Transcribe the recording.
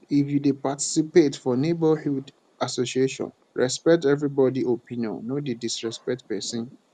if you dey participate for neighborhood association respect everybody opinion no disrespect person